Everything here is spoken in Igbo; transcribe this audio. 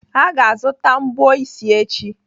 Aga azụta mbọ isi echi.